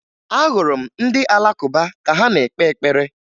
Ahụrụ m ndị Alakụba ka ha na-ekpe ekpere